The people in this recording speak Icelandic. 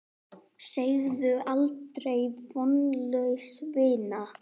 Segðu aldrei: Vonlaus vinna!